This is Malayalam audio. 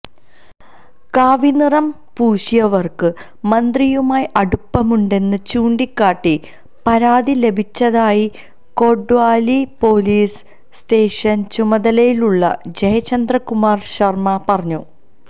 കാവിനിറം പൂശിയവര്ക്ക് മന്ത്രിയുമായി അടുപ്പമുണ്ടെന്ന് ചൂണ്ടിക്കാട്ടി പരാതി ലഭിച്ചതായി കൊട്വാലി പോലിസ് സ്റ്റേഷന്റെ ചുമതലയുള്ള ജയ്ചന്ദ് കുമാര് ശര്മ പറഞ്ഞു